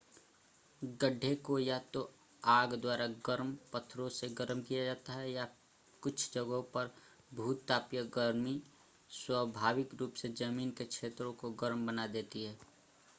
गड्ढे को या तो आग द्वारा गर्म पत्थरों से गर्म किया जाता है या कुछ जगहों पर भूतापीय गर्मी स्वाभाविक रूप से ज़मीन के क्षेत्रों को गर्म बना देती है